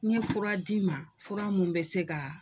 N ye fura d'i ma fura mun bɛ se ka